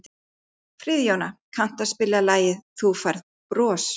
Friðjóna, kanntu að spila lagið „Þú Færð Bros“?